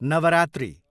Navratri